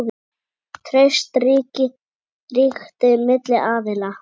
Traust ríkti milli aðila.